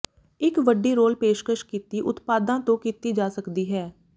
ਇੱਕ ਵੱਡੀ ਰੋਲ ਪੇਸ਼ਕਸ਼ ਕੀਤੀ ਉਤਪਾਦਾਂ ਤੋਂ ਕੀਤੀ ਜਾ ਸਕਦੀ ਹੈ